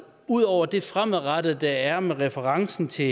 ud over det fremadrettede der er med referencen til